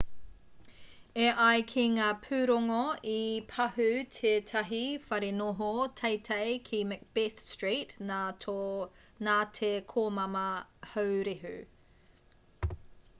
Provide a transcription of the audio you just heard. e ai ki ngā pūrongo i pahū tētahi wharenoho teitei ki macbeth street nā te komama haurehu